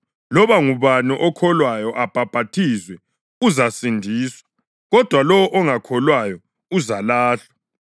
Loba ngubani okholwayo abhaphathizwe uzasindiswa, kodwa lowo ongakholwayo uzalahlwa.